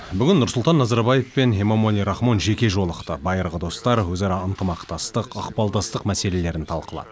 бүгін нұрсұлтан назарбаев пен эмомали рахмон жеке жолықты байырғы достар өзара ынтымақтастық ықпалдастық мәселелерін талқылады